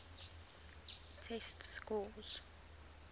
test scores